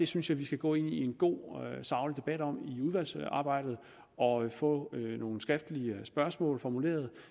synes at vi skal gå ind i en god saglig debat om det i udvalgsarbejdet og få nogle skriftlige spørgsmål formuleret